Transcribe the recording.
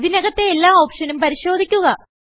ഇതിനകത്തെ എല്ലാ ഓപ്ഷനും പരിശോധിക്കുക